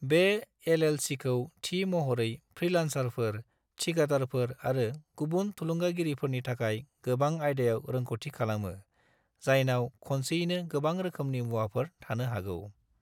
बे एल.एल.सी.खौ थि महरै फ्रीलान्सारफोर, थिखादारफोर आरो गुबुन थुलुंगागिरिफोरनि थाखाय गोबां आयदायाव रोंग'थि खालामो, जायनाव खनसेयैनो गोबां रोखोमनि मुवाफोर थानो हागौ।